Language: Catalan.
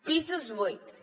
pisos buits